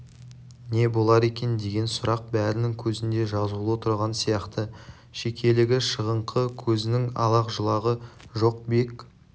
не болар екен деген сұрақ бәрінің көзінде жазулы тұрған сияқты шекелігі шығыңқы көзінің алақ-жұлағы жоқ бек